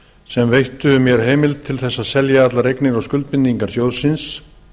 sem veittu mér heimild til þess að selja allar eignir og skuldbindingar sjóðsins